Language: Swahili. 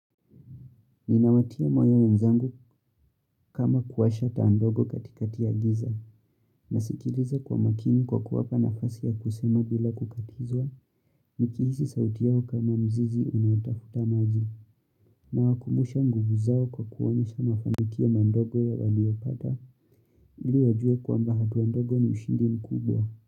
Ninawatia moyo wenzangu kama kuwasha taandogo katika tiagiza na sikiliza kwa makini kwa kuwapa nafasi ya kusema bila kukatizwa nikihisi sauti yao kama mzizi unautafuta maji na wakumusha nguvu zao kwa kuwanyesha mafanikio mandogo ya waliopata ili wajue kwa mba hatuandogo ni ushindi mkubwa.